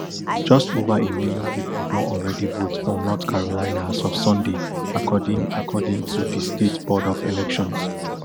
just ova a million pipo don already vote for north carolina as of sunday according according to di state board of elections